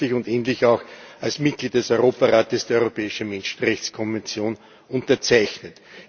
Sie haben schließlich und endlich auch als Mitglied des Europarats die Europäische Menschrechtskonvention unterzeichnet.